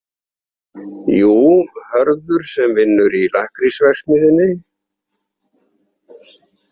Jú, Hörður sem vinnur í lakkrísverksmiðjunni.